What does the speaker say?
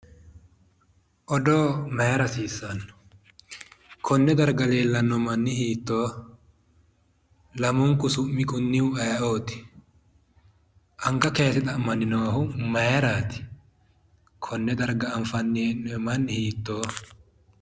Odoo mayiira hasiissanno? Konne darga leellanni manni hiittooho? Lamunku su'mi kunnihu aye"oti? Anga kayiise xa'manni noohu mayeerati? Konne darga anfanni hee'noyi manni hiittooho?